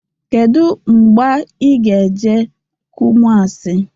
Kedụ mgba ị ga-eje Kumuasi?